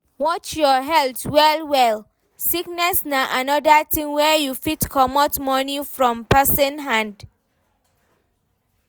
Watch your health well well, sickness na anoda thing wey fit comot money from person hand